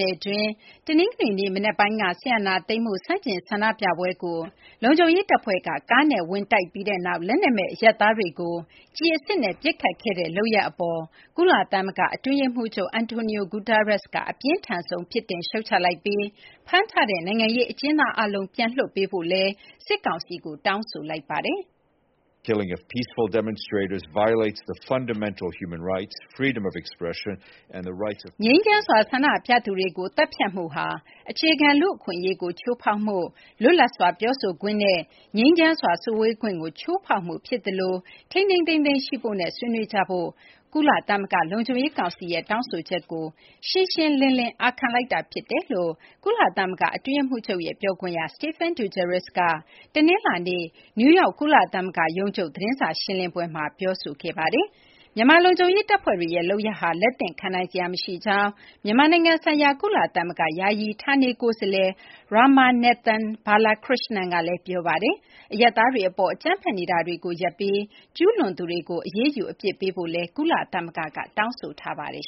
နယ်တွင်း တနင်္ဂနွေနေ့ မနက်ပိုင်းက စစ်အာဏာသိမ်းမှု ဆန့်ကျင်ဆန္ဒပြပွဲကို လုံခြုံရေးတပ်ဖွဲ့က ကားနဲ့ဝင်တိုက်ပြီးနောက် လက်နက်မဲ့ အရပ်သားတွေကို ကျည်အစစ်နဲ့ ပစ်ခတ်ခဲ့တဲ့ လုပ်ရပ်အပေါ် ကုလသမဂ္ဂ အတွင်းရေးမှူးချုပ် Antonio Guterres က အပြင်းထန်ဆုံး ပြစ်တင် ရှုတ်ချလိုက်ပြီး ဖမ်းထားတဲ့ နိုင်ငံရေးအကျဉ်းသားအားလုံး ပြန်လွှတ်ပေးဖို့ စစ်ကောင်စီကို တောင်းဆိုလိုက်ပါတယ်။ “ငြိမ်းချမ်းစွာ ဆန္ဒပြသူတွေကို သတ်ဖြတ်မှုဟာ အခြေခံ လူ့အခွင့်အရေးကို ချိုးဖောက်မှု၊ လွတ်လပ်စွာ ပြောဆိုခွင့်နဲ့ ငြိမ်းချမ်းစွာ စုဝေးခွင့်ကို ချိုးဖောက်မှုဖြစ်သလို ထိန်းထိန်းသိမ်းသိမ်းရှိဖို့နဲ့ ဆွေးနွေးကြဖို့ ကုလသမဂ္ဂ လုံခြုံရေးကောင်စီရဲ့ တောင်းဆိုချက်ကို ရှင်းရှင်းလင်းလင်း အာခံလိုက်တာဖြစ်တယ်။” လို့ ကုလသမဂ္ဂ အတွင်းရေးမှူးချုပ်ရဲ့ ပြောခွင့်ရ Stephane Dujarric က တနင်္လာနေ့ နယူးယောက် ကုလသမဂ္ဂရုံးချုပ် သတင်းစာရှင်းလင်းပွဲမှာ ပြောဆိုခဲ့ပါတယ်။ မြန်မာ လုံခြုံရေးတပ်ဖွဲ့တွေရဲ့ လုပ်ရပ်ဟာ လက်သင့်ခံနိုင်စရာ မရှိကြောင်း မြန်မာနိုင်ငံဆိုင်ရာ ကုလသမဂ္ဂ ယာယီ ဌာနေကိုယ်စားလှယ် Ramanathan Balakrishnan ကလည်း ပြောပါတယ်။ အရပ်သားတွေအပေါ် အကြမ်းဖက်နေတာတွေ ရပ်ပြီး ကျူးလွန်သူတွေကို အရေးယူ အပြစ်ပေးဖို့လည်း ကုလသမဂ္ဂက တောင်းဆိုထားပါတယ်